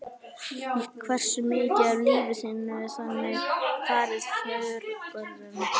Hversu mikið af lífi mínu er þannig farið forgörðum?